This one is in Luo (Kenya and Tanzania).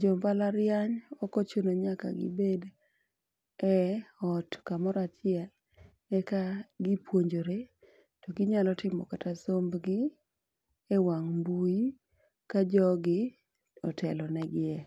jombalariany ok ochuno ni nyaka gibed e ot kamoro achiel eka gipuonjore to ginyalo timo kata sombgi e wang' mbui ka jogi otelo negi e.